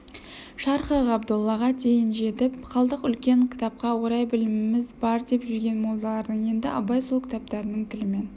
шархы ғабдоллаға дейін жетіп қалдық үлкен кітапқа орай біліміміз бар деп жүрген молдаларды енді абай сол кітаптарының тілімен